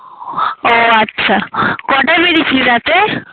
ও আচ্ছা কয়টায় বেরিয়েছিলি রাতে